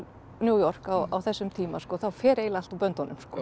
New York á þessum tíma þá fer eiginlega allt úr böndunum